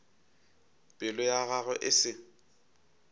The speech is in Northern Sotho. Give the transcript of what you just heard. pelo ya gagwe e se